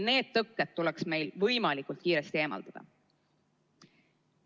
Need tõkked tuleks meil võimalikult kiiresti eemaldada.